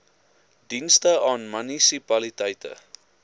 dienste aan munisipaliteite